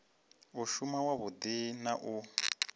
u shuma wavhudi na u